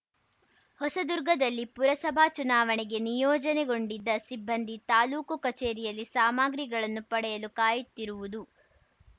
ಹೊಸದುರ್ಗದಲ್ಲಿ ಪುರಸಭಾ ಚುನಾವಣೆಗೆ ನಿಯೋಜನೆಗೊಂಡಿದ್ದ ಸಿಬ್ಬಂದಿ ತಾಲೂಕು ಕಚೇರಿಯಲ್ಲಿ ಸಾಮಗ್ರಿಗಳನ್ನು ಪಡೆಯಲು ಕಾಯುತ್ತಿರುವುದು